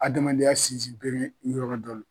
Adamaden ya sin sin bere yɔrɔ dɔ lo.